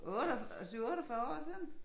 8 7 48 år siden